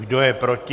Kdo je proti?